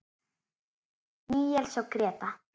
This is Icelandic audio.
Níels og Gréta.